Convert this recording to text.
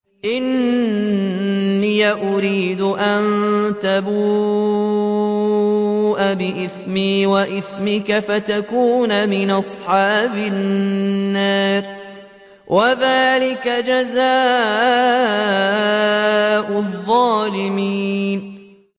إِنِّي أُرِيدُ أَن تَبُوءَ بِإِثْمِي وَإِثْمِكَ فَتَكُونَ مِنْ أَصْحَابِ النَّارِ ۚ وَذَٰلِكَ جَزَاءُ الظَّالِمِينَ